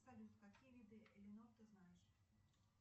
салют какие виды элинор ты знаешь